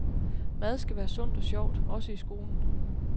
Mad skal være sundt og sjovt, også i skolen.